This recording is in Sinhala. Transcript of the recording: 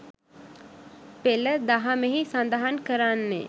පෙළ දහමෙහි සඳහන් කරන්නේ්